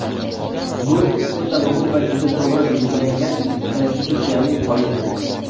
Bu – o‘ta muhim va juda to‘g‘ri belgilangan konstitutsiyaviy qoidadir.